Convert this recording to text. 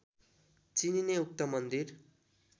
चिनिने उक्त मन्दिर